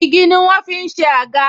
Igi ni wọ́n ń fi ṣe àga